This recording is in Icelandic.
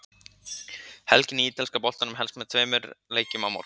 Helgin í ítalska boltanum hefst með tveimur leikjum á morgun.